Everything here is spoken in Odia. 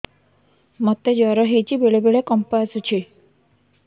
ମୋତେ ଜ୍ୱର ହେଇଚି ବେଳେ ବେଳେ କମ୍ପ ଆସୁଛି